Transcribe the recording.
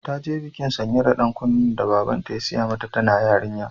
Ta ji bikin sanya da ɗan kunnen da Babanta ya sai mata tana yarinya.